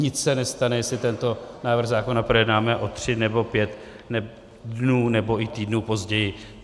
Nic se nestane, jestli tento návrh zákona projednáme o tři nebo pět dnů nebo i týdnů později.